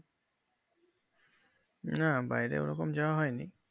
না বাইরে ওরকম যাওয়া হয়নি